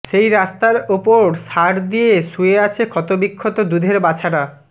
সেই রাস্তার ওপর সার দিয়ে শুয়ে আছে ক্ষত বিক্ষত দুধের বাছারা